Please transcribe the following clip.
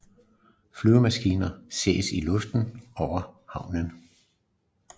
Flyvemaskiner ses i luften over havnen